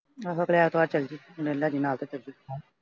ਆਹੋ ਅਗਲੇ ਐਤਵਾਰ ਚਲੇ ਜਾਈਂ ਮੈਨੂੰ ਲੈ ਜਾਈਂ ਨਾਲ ਤੇ ,